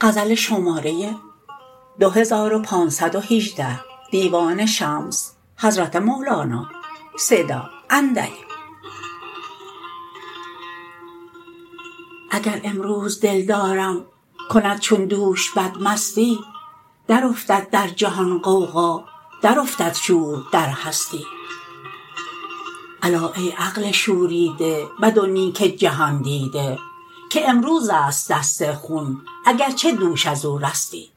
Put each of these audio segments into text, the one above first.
اگر امروز دلدارم کند چون دوش بدمستی درافتد در جهان غوغا درافتد شور در هستی الا ای عقل شوریده بد و نیک جهان دیده که امروز است دست خون اگر چه دوش از او رستی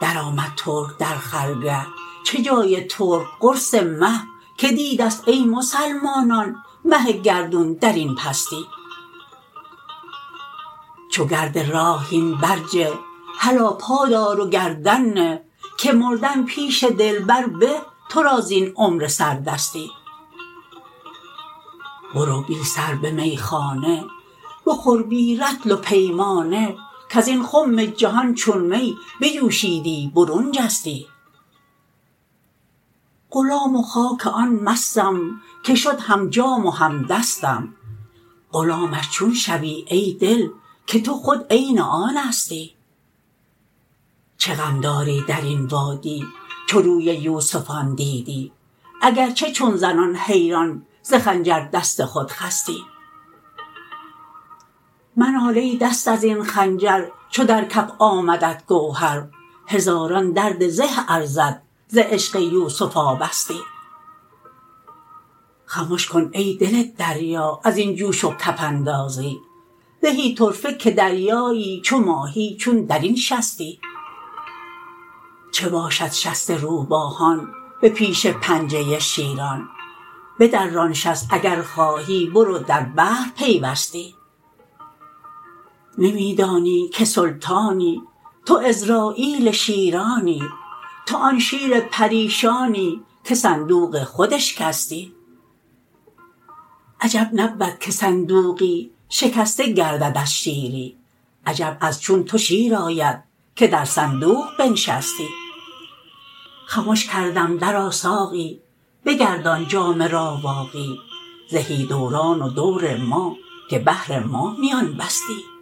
درآمد ترک در خرگه چه جای ترک قرص مه کی دیده است ای مسلمانان مه گردون در این پستی چو گرد راه هین برجه هلا پا دار و گردن نه که مردن پیش دلبر به تو را زین عمر سردستی برو بی سر به میخانه بخور بی رطل و پیمانه کز این خم جهان چون می بجوشیدی برون جستی غلام و خاک آن مستم که شد هم جام و هم دستم غلامش چون شوی ای دل که تو خود عین آنستی چه غم داری در این وادی چو روی یوسفان دیدی اگر چه چون زنان حیران ز خنجر دست خود خستی منال ای دست از این خنجر چو در کف آمدت گوهر هزاران درد زه ارزد ز عشق یوسف آبستی خمش کن ای دل دریا از این جوش و کف اندازی زهی طرفه که دریایی چو ماهی چون در این شستی چه باشد شست روباهان به پیش پنجه شیران بدران شست اگر خواهی برو در بحر پیوستی نمی دانی که سلطانی تو عزراییل شیرانی تو آن شیر پریشانی که صندوق خود اشکستی عجب نبود که صندوقی شکسته گردد از شیری عجب از چون تو شیر آید که در صندوق بنشستی خمش کردم درآ ساقی بگردان جام راواقی زهی دوران و دور ما که بهر ما میان بستی